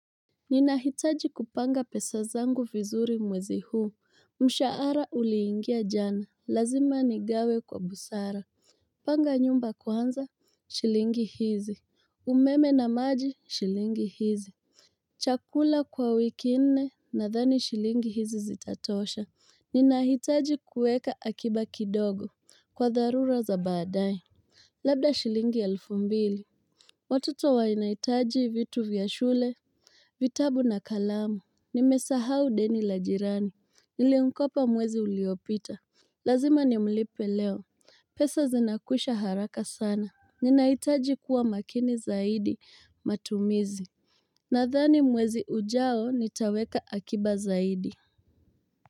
Ninahitaji kupanga pesa zangu vizuri mwezi huu. Mshahara uliingia jana, lazima nigawe kwa busara. Panga nyumba kwanza. Shilingi hizi umeme na maji, shilingi hizi chakula kwa wiki nne nadhani shilingi hizi zitatosha. Ninahitaji kuweka akiba kidogo Kwa dharura za baadaye. Labda shilingi elfu mbili. Watoto wanahitaji vitu vya shule, vitabu na kalamu, nimesahau deni la jirani, nilimkopa mwezi uliyopita Lazima nimlipe leo, pesa zinakwisha haraka sana Ninahitaji kuwa makini zaidi matumizi Nadhani mwezi ujao nitaweka akiba zaidi.